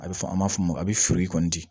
A bɛ fɔ an b'a fɔ mun ma a bɛ feere kɔni di